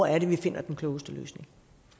er vi finder den klogeste løsning